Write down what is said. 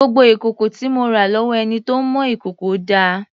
Gbogbo ìkòkò tí mo rà lọ́wọ́ ẹni tó ń mọ ìkòkò dà?